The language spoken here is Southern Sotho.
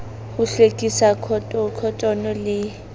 ho hlwekise khotone le h